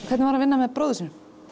hvernig var að vinna með bróður sínum